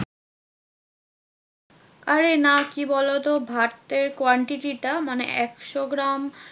আরে না কি বলোতো? ভাতের quantity টা মানে একশো গ্রাম